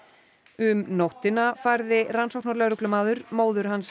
um nóttina færði rannsóknarlögreglumaður móður hans